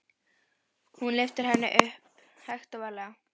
Hún lyftir henni upp, hægt og varlega.